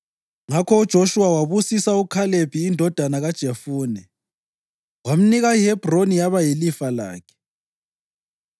Ngakho UJoshuwa wabusisa uKhalebi indodana kaJefune, wamnika iHebhroni yaba yilifa lakhe.